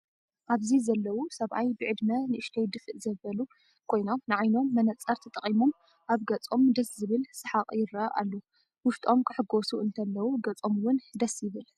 ኣብዚ ዘለው ሰብኣይ ብዕድመ ንእሽተይ ድፍእ ዘበሉ ኮይኖም ንዓይኖም መነፀር ተጠቂሞም ኣብ ገፆም ደስ ዝብል ፀሓቅ ይርኣ ኣሎ። ውሽቶም ክሕጎሱ እንተለው ገፆም እውን ደስ ይብል።